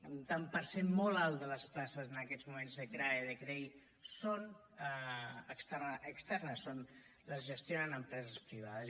un tant per cent molt alt de les places en aquests moments de crae i de crei són externes les gestionen empreses privades